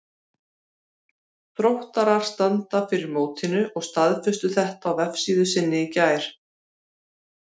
Þróttarar standa fyrir mótinu og staðfestu þetta á vefsíðu sinni í gær.